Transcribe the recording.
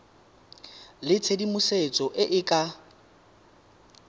le tshedimosetso e e ka